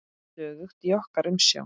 Stöðugt í okkar umsjá.